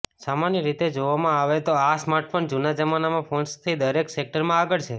સામાન્ય રીતે જોવામાં આવે તો આ સ્માર્ટફોન જૂના જમાનાના ફોન્સને થી દરેક સેક્ટરમાં આગળ છે